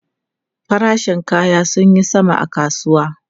Farashin kaya sun yi sama a kasuwa.